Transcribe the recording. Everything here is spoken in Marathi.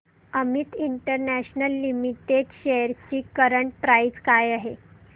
अमित इंटरनॅशनल लिमिटेड शेअर्स ची करंट प्राइस काय आहे